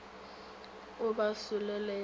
a ba solela ya ba